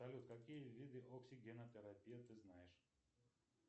салют какие виды оксигенотерапии ты знаешь